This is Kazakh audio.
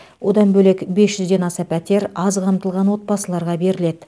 одан бөлек бес жүзден аса пәтер аз қамтылған отбасыларға беріледі